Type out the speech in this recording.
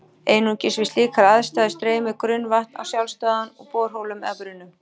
Einungis við slíkar aðstæður streymir grunnvatn af sjálfsdáðum úr borholum eða brunnum.